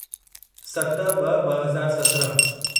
सत ब॒ ब॒ हज़ार सत्रहं